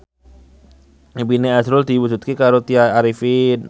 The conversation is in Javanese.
impine azrul diwujudke karo Tya Arifin